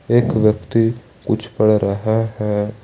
एक व्यक्ति कुछ पढ़ रहा है।